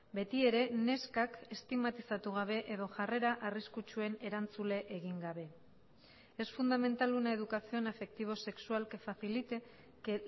beti ere neskak estigmatizatu gabe edo jarrera arriskutsuen erantzule egin gabe es fundamental una educación afectivo sexual que facilite que